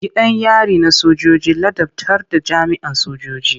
Gidan yari na sojoji ladabtar da jami'an sojoji.